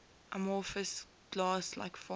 amorphous glass like form